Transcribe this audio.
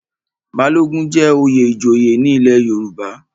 Balogun jẹ́ oyè ìjòyè ní ilé Yorùbá.